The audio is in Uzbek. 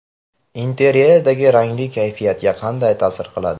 Interyerdagi ranglar kayfiyatga qanday ta’sir qiladi?.